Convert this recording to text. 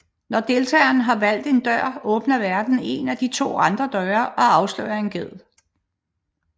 Når deltageren har valgt en dør åbner værten en af de to andre døre og afslører en ged